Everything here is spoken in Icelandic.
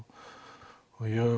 og ég